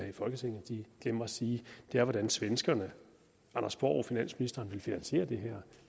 i folketinget glemmer at sige er hvordan svenskerne anders borg finansministeren vil finansiere det her